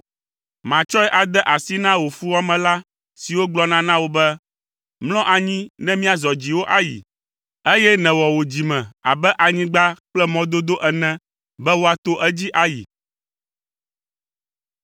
Matsɔe ade asi na wò fuwɔamela siwo gblɔna na wò be, ‘Mlɔ anyi ne míazɔ dziwò ayi’, eye nèwɔ wò dzime abe anyigba kple mɔdodo ene be woato edzi ayi.”